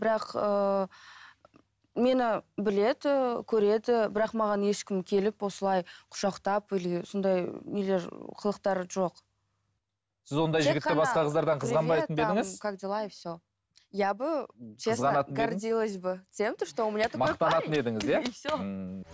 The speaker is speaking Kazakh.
бірақ ыыы мені біледі көреді бірақ маған ешкім келіп осылай құшақтап или сондай нелер қылықтары жоқ